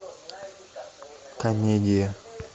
комедия